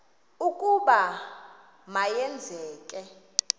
ukuba ma yenzeke